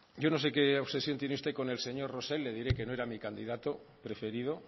yo no sé qué obsesión tiene usted con el señor rosell le diré que no era mi candidato preferido